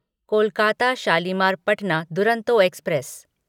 Kolkata Shalimar Patna Duronto express